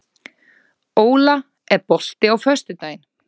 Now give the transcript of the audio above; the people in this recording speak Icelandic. Óla, er bolti á föstudaginn?